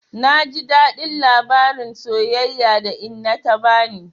Na ji daɗin labarin soyayya da inna ta bani.